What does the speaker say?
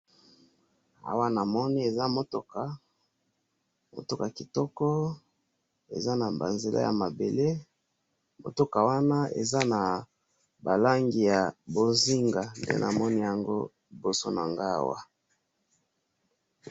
awa namoni eza mutuka, mutuka kitoko, eza na ba nzela ya mabele, mutuka wana eza na ba langi ya bonzinga, nde namoni yango liboso na ngai awa